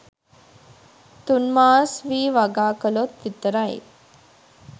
තුන්මාස් වී වගා කලොත් විතරයි